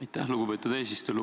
Aitäh, lugupeetud eesistuja!